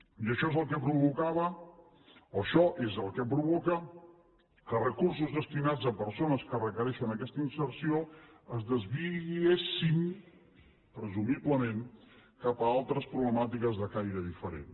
i això és el que provocava o això és el que provoca que recursos destinats a persones que requereixen d’aquesta inserció es desviessin presumiblement cap a altres problemàtiques de caire diferent